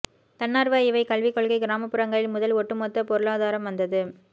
தன்னார்வ இவை கல்வி கொள்கை கிராமப்புறங்களில் முதல் ஒட்டுமொத்த பொருளாதாரம் வந்தது